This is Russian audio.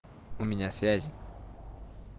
у меня связи